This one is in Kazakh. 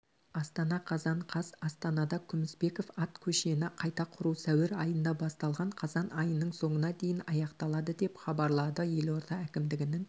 астана қазан қаз астанада күмісбеков ат көшені қайта құру сәуір айында басталған қазан айының соңына дейін аяқталады деп хабарлады елорда әкімдігінің